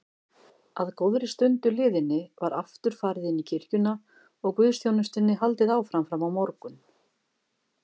Að góðri stund liðinni var aftur farið inní kirkjuna og guðsþjónustunni haldið áfram frammá morgun.